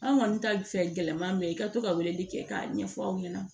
An kɔni ka fɛɛrɛ man ye i ka to ka weleli kɛ k'a ɲɛfɔ aw ɲɛna